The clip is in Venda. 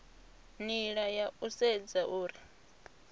nila ya u sedza uri